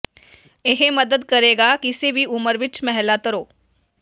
ਇਹ ਮਦਦ ਕਰੇਗਾ ਕਿਸੇ ਵੀ ਉਮਰ ਵਿਚ ਮਹਿਲਾ ਤਰੋ